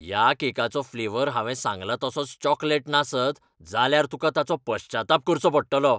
ह्या केकाचो फ्लेवर हांवें सांगला तसोच चॉकलेट नासत जाल्यार तुकां ताचो पश्चाताप करचो पडटलो.